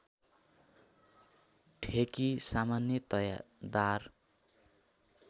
ठेकी सामान्यतया दार